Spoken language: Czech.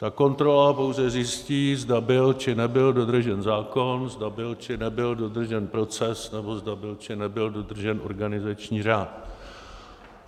Ta kontrola pouze zjistí, zda byl, či nebyl dodržen zákon, zda byl či, nebyl dodržen proces nebo zda byl, či nebyl dodržen organizační řád.